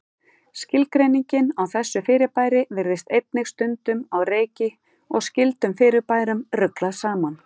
Skilgreiningin á þessu fyrirbæri virðist einnig stundum á reiki og skyldum fyrirbærum ruglað saman.